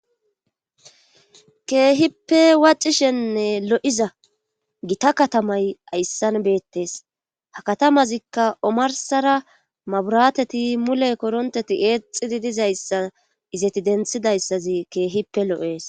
Keehippe wacishenne lo7iza gita katamay ayssan beettes ha katamazikka omarsara maburateti mule koronteti eexidi dizayssa izeti denthidayssazi keehippe lo7es.